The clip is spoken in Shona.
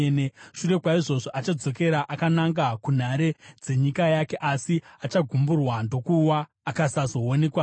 Shure kwaizvozvo, achadzokera akananga kunhare dzenyika yake asi achagumburwa ndokuwa, akasazoonekwazve.